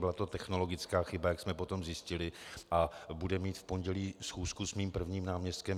Byla to technologická chyba, jak jsme potom zjistili, a budu mít v pondělí schůzku s mým prvním náměstkem.